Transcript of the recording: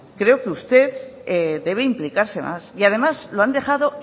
creo que usted debe implicarse más y además lo han dejado